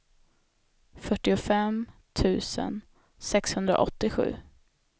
fyrtiofem tusen sexhundraåttiosju